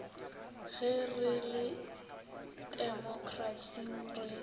ge re le temokrasing re